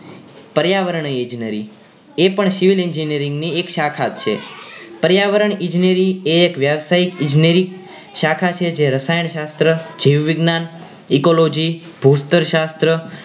પર્યાવર ઈજનેરી એ પણ civil engineering ની એક શાખા જ છે પર્યાવરણ ઈજનેરી એ એક વ્યવસાયિક ઈજનેરી શાખા છે જે રસાયણ શાસ્ત્ર જીવ વિજ્ઞાન ecology ભૂસ્તર શાસ્ત્ર